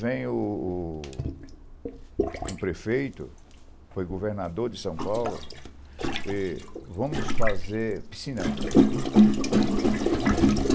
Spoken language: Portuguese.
Vem um prefeito, foi governador de São Paulo, e vamos fazer piscinão.